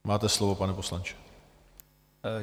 Máte slovo, pane poslanče.